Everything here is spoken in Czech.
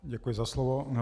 Děkuji za slovo.